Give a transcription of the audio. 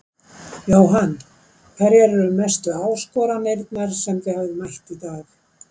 Jóhann: Hverjar eru mestu áskoranirnar sem þið hafið mætt í dag?